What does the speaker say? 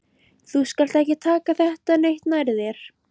Þú skalt ekki taka þetta neitt nærri þér.